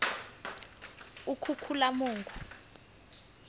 ukhukhulamungu